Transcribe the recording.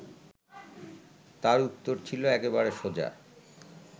তার উত্তর ছিল একেবারে সোজা